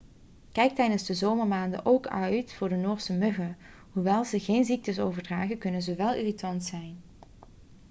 kijk tijdens de zomermaanden ook uit voor de noorse muggen hoewel ze geen ziektes overdragen kunnen ze wel irritant zijn